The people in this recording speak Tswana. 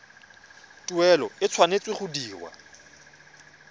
tuelo e tshwanetse go dirwa